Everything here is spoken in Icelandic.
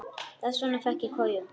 Þess vegna fékk ég koju.